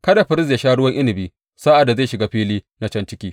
Kada firist ya sha ruwan inabi sa’ad da zai shiga fili na can ciki.